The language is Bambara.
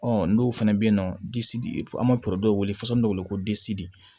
Ɔ dɔw fana bɛ yen nɔ an bɛ wele faso min bɛ wele ko